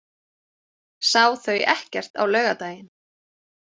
Sá þau ekkert á laugardaginn.